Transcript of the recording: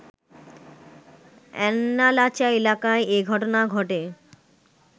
আন্ন্যালাচা এলাকায় এ ঘটনা ঘটে